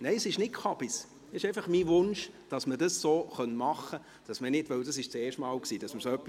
Nein, es ist kein Unsinn, es ist einfach mein Wunsch, dass man es so machen könnte, weil wir zum ersten Mal so etwas hatten.